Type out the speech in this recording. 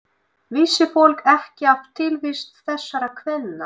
Vissi fólk ekki af tilvist þessara kvenna?